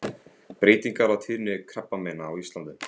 Breytingar á tíðni krabbameina á Íslandi.